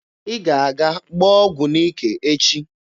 Ị ga-aga gbaa ọgụ n'ike echi!